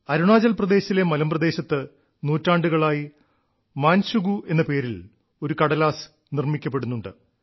അരുണാചൽപ്രദേശിലെ മലമ്പ്രദേശത്ത് നൂറ്റാണ്ടുകളായി മാൻശുഗു എന്ന പേരിൽ ഒരു കടലാസ് നിർമ്മിക്കപ്പെടുന്നുണ്ട്